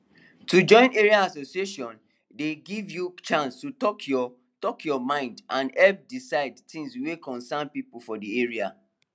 to join area association dey give you chance to talk your talk your mind and help decide things wey concern people for the area